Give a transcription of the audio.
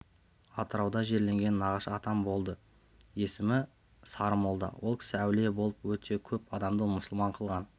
атырауда жерленген нағашы атам болды есімі сарымолда ол кісі әулие болып өте көп адамды мұсылман қылған